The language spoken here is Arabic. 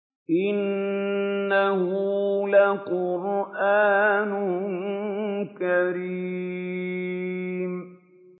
إِنَّهُ لَقُرْآنٌ كَرِيمٌ